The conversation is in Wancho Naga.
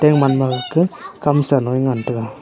omanma kake kamsa loe ngan taiga.